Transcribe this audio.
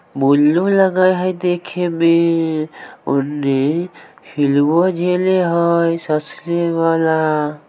बुलू लगे है देखे में उने हिलवा देने हई ससरे वला।